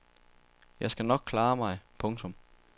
Jeg skal nok klare mig. punktum